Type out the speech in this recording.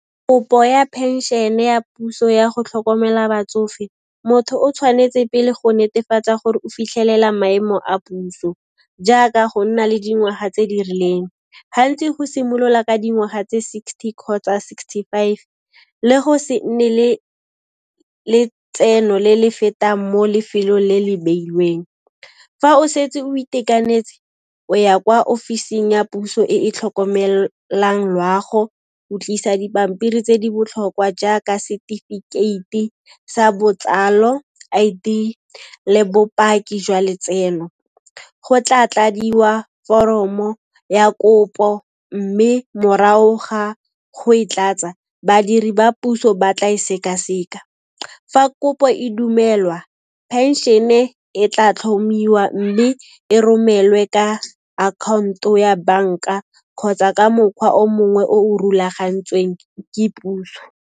Kopo ya phenšhene ya puso ya go tlhokomela batsofe, motho o tshwanetse pele go netefatsa gore o fitlhelela maemo a puso jaaka go nna le dingwaha tse di rileng. Gantsi go simolola ka dingwaga tse sixty kgotsa sixty five le go se nne le letseno le le fetang mo lefelong le le beilweng. Fa o setse o itekanetse, o ya kwa ofising ya puso e e tlhokomelang loago, o tlisa dipampiri tse di botlhokwa jaaka setefikeite sa botsalo, I_D, le bopaki jwa letseno. Go tla tladiwa foromo ya kopo mme morao ga go e tlatsa, badiri ba puso ba tla e seka-seka. Fa kopo e dumelwa, phenšene e tla tlhomiwa mme e romelwe ka akhaonto ya banka kgotsa ka mokgwa o mongwe o rulagantsweng ke puso.